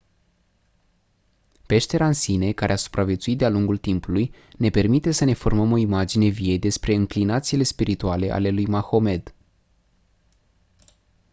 peștera în sine care a supraviețuit de-a lungul timpului ne permite să ne formăm o imagine vie despre înclinațiile spirituale ale lui mahomed